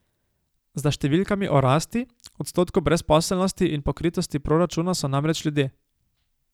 Za številkami o rasti, odstotku brezposelnosti in pokritosti proračuna so namreč ljudje.